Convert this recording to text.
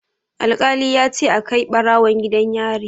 Alƙali ya ce a kai ɓarawon gidan yari.